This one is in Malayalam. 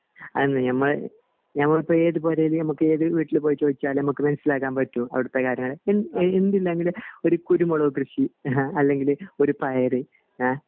അതന്നെ ഞമ്മ ഞമ്മളിപ്പോ ഏത് പൊരേൽ ഞമ്മക് ഏത് വീട്ടിൽ പോയി ചോയ്ച്ചാലും നമ്മക് മനസിലാക്കാൻ പറ്റും അവിടത്തെ കാര്യങ്ങൾ എന്തില്ലെങ്കിലും ഒരു കുരുമുളക് കൃഷി അല്ലെങ്കിൽ ഒരു പയർ അഹ്